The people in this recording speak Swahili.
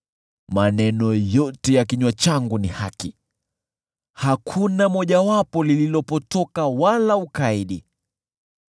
Maneno yote ya kinywa changu ni haki; hakuna mojawapo lililopotoka wala ukaidi.